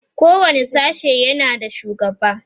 kowani sashe yana da shugaba